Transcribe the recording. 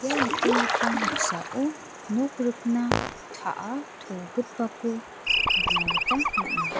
ia nikenggipa noksao nok rikna ta·a togipako nikna gita man·a.